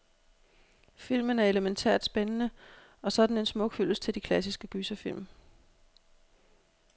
Filmen er elemæntært spændende, og så er den en smuk hyldest til de klassiske gyserfilm.